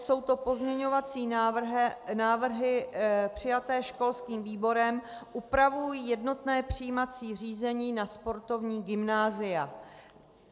Jsou to pozměňovací návrhy přijaté školským výborem, upravují jednotné přijímací řízení na sportovní gymnázia.